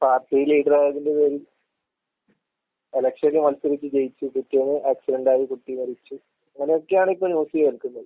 Party ലീഡറായതിന്റെ പേരിൽ, എലക്ഷന് മത്സരിച്ചു ജയിച്ചു. പിറ്റേന്ന് ആക്‌സിഡന്റായി കുട്ടി മരിച്ചു. ഇങ്ങനെയൊക്കെയാണിപ്പോ ന്യൂസ് കേൾക്കുന്നത്.